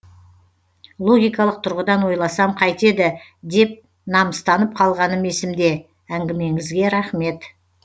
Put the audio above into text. логикалық тұрғыдан ойласам қайтеді деп намыстанып қалғаным есімде әңгімеңізге рахмет